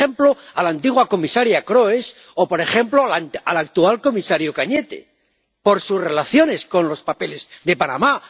Por ejemplo, a la antigua comisaria Kroes o, por ejemplo, al actual comisario Cañete, por sus relaciones con los papeles de Panamá.